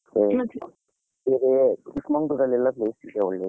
ಇದು ಚಿಕ್ ಮಂಗಳೂರ್ ಎಲ್ಲ place ಇದೆ ಒಳ್ಳೇದು.